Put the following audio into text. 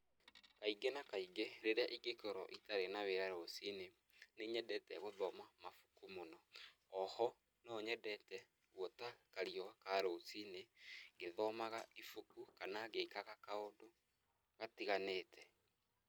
Kaingĩ na kaingĩ, rĩrĩa ingĩkũrwo itarĩ na wĩra rũcinĩ, nĩ nyendete gũthoma mabuku mũno, o ho, no nyendete gũota kariua ka rũcinĩ, ngĩthomaga ibuku kana ngĩkaga kaũndũ gatiganĩte.